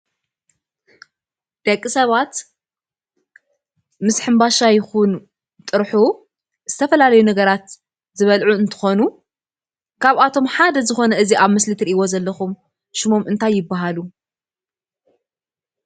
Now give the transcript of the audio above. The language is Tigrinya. ደቂ ሰባት ምስ ሕምባሻ ይኩን ጥርሑ ዝተፈላለዩ ነገራት ዝበልዑ እንትኾኑ፤ ካብአቶም ሓደ ዝኮነ እዚ አብ ምስሊ እትሪኢዎ ዘለኩም ሽሞም እንታይ ይበሃሉ?